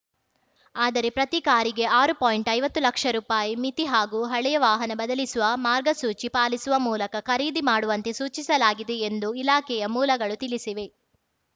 ಆದರೆ ಪ್ರತಿ ಕಾರಿಗೆ ಆರು ಪಾಯಿಂಟ್ಐವತ್ತು ಲಕ್ಷ ರೂಪಾಯಿ ಮಿತಿ ಹಾಗೂ ಹಳೆಯ ವಾಹನ ಬದಲಿಸುವ ಮಾರ್ಗಸೂಚಿ ಪಾಲಿಸುವ ಮೂಲಕ ಖರೀದಿ ಮಾಡುವಂತೆ ಸೂಚಿಸಲಾಗಿದೆ ಎಂದು ಇಲಾಖೆಯ ಮೂಲಗಳು ತಿಳಿಸಿವೆ